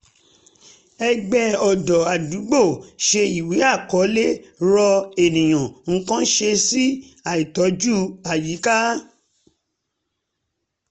ẹgbẹ́ ọ̀dọ́ ádúgbò ṣe ìwé àkọlé rọ ènìyàn nǹkan ṣe sí àìtọ́jú àyíká